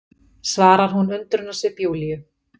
svarar hún undrunarsvip Júlíu.